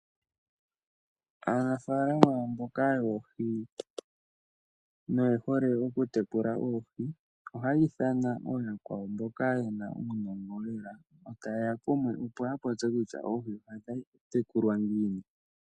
Aanafaalama mboka yoohi noyehole okutekula oohi, ohaya ithaana yakwawo mboka yena uunongo lela. Yotaye ya kumwe opo ya popye kutya oohi ohadhi tekulwa ngiini.